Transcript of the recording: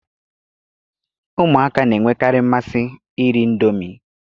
Ụmụaka na-enwekarị mmasị iri Indomi